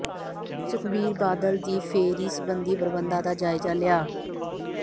ਸੁਖਬੀਰ ਬਾਦਲ ਦੀ ਫੇਰੀ ਸਬੰਧੀ ਪ੍ਰਬੰਧਾਂ ਦਾ ਜਾਇਜ਼ਾ ਲਿਆ